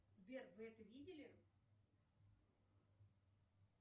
сбер вы это видели